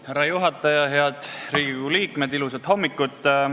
Härra juhataja, head Riigikogu liikmed, ilusat hommikut!